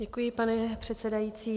Děkuji, pane předsedající.